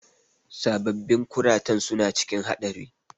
Sababbin kuratan suna cikin haɗari.